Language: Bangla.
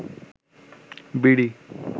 বিড়ি